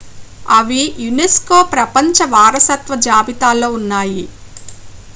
అవి యునెస్కో ప్రపంచ వారసత్వ జాబితాలో ఉన్నాయి